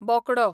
बोकडो